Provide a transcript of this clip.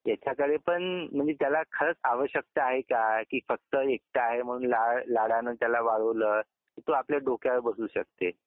त्याच्याकडे पण म्हणजे त्याला खरंच आवश्यकता आहे का की फक्त एकटा आहे म्हणून लाड, लाडाने त्याला वाढवलं की तो आपल्याच डोक्यावर बसू शकते